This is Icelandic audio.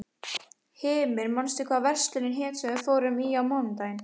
Hymir, manstu hvað verslunin hét sem við fórum í á mánudaginn?